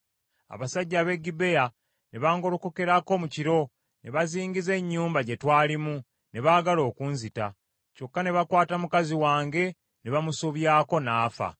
Abasajja ab’e Gibea ne bangolokokerako mu kiro, ne bazingiza ennyumba gye twalimu, ne baagala okunzita. Kyokka ne bakwata mukazi wange ne bamusobyako n’afa.